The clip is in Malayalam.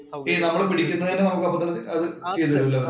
ഈ നമ്മള് പിടിക്കുന്നതിനെ നമ്മുക്ക് അപ്പൊ തന്നെ അത് ചെയ്തു തരും അല്ലേ?